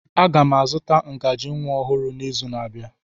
Aga m azụta ngaji nwa ọhụrụ n'izu na-abịa.